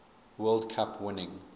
world cup winning